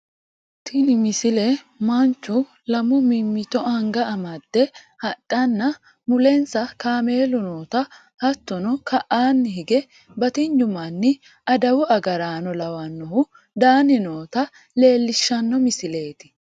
tini misile manchu lamu mimmito anga made hadhanna mulensa kameelu noota hattono ka'aanni hige batinyu manni adawu agaraano lawannohu daanni noota leellishshanno misileeti